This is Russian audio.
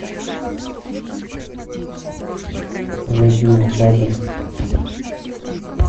зайди в базу